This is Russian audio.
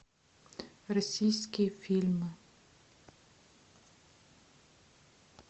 российские фильмы